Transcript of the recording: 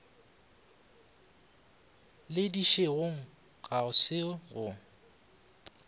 le dišegong ga se go